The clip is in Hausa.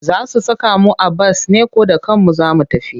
Za su saka mu a bas ne ko da kanmu za mu tafi?